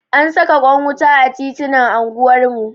An saka kwan wuta a titinan anguwar mu.